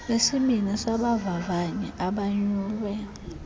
besibini sabavavanyi abanyulwe